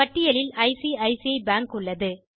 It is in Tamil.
பட்டியலில் ஐசிசி பேங்க் உள்ளது